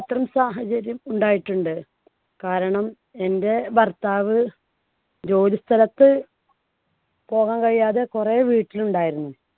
അത്തരം സാഹചര്യം ഉണ്ടായിട്ടുണ്ട്. കാരണം എൻടെ ഭർത്താവ് ജോലിസ്ഥലത്ത് പോകാൻ കഴിയാതെ കുറെ വീട്ടിൽ ഉണ്ടായിരുന്നു.